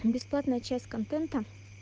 бесплатная часть контента